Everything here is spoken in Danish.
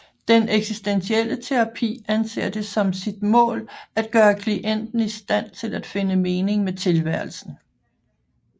Den eksistentielle terapi anser det som sit mål at gøre klienten i stand til at finde mening med tilværelsen